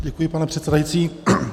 Děkuji, pane předsedající.